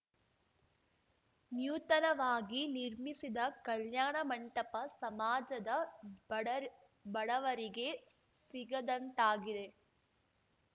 ನ್ಯೂತನವಾಗಿ ನಿರ್ಮಿಸಿದ ಕಲ್ಯಾಣ ಮಂಟಪ ಸಮಾಜದ ಬಡರ್ ಬಡವರಿಗೆ ಸಿಗದಂತಾಗಿದೆ